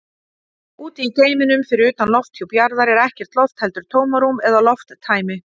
Úti í geimnum, fyrir utan lofthjúp jarðar, er ekkert loft heldur tómarúm eða lofttæmi.